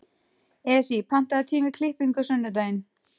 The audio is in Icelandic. Esí, pantaðu tíma í klippingu á sunnudaginn.